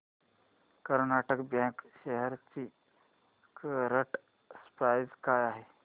Karnataka bank shares ची current price काय आहे